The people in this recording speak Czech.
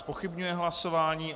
Zpochybňuje hlasování.